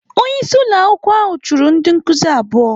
Onye isi ụlọ akwụkwọ ahụ chụrụ ndị nkuzi abụọ.